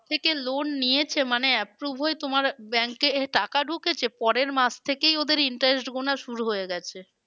থেকে loan নিয়েছে মানে approved হয়ে আমার bank এ টাকা ঢুকেছে পরের মাস থেকেই ওদের interest গোনা শুরু হয়ে গেছে।